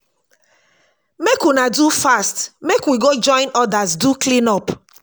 make una do fast make we go join others do clean up